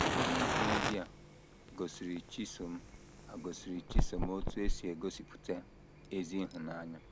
Obere ihe ndị a gosiri Chisom a gosiri Chisom otú e si egosipụta ezi ịhụnanya.